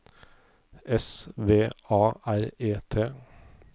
S V A R E T